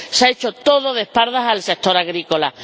Se ha hecho todo de espaldas al sector agrícola.